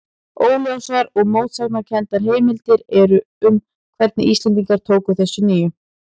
Óljósar og mótsagnakenndar heimildir eru um hvernig Íslendingar tóku þessari nýjung.